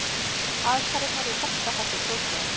Aðfarirnar í besta falli broslegar.